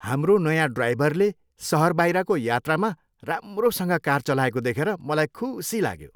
हाम्रो नयाँ ड्राइभरले सहरबाहिरको यात्रामा राम्रोसँग कार चलाएको देखेर मलाई खुसी लाग्यो।